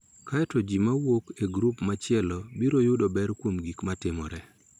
Kae to ji ma wuok e grup machielo biro yudo ber kuom gik ma timore.